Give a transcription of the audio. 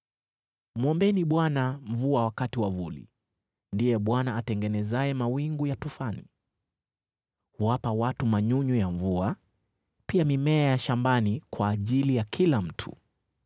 Mwombeni Bwana mvua wakati wa vuli; ndiye Bwana atengenezaye mawingu ya tufani. Huwapa watu manyunyu ya mvua, pia mimea ya shambani kwa ajili ya kila mtu.